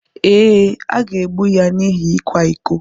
Ee, a ga-egbu ya n’ihi ịkwa iko.